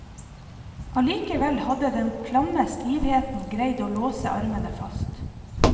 Allikevel hadde den klamme stivheten greid å låse armene fast.